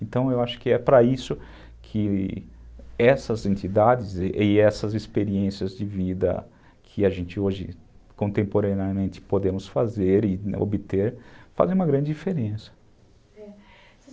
Então eu acho que é para isso que essas entidades e essas experiências de vida que a gente hoje contemporaneamente podemos fazer e obter fazem uma grande diferença.